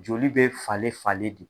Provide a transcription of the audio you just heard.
Joli be falen falen de.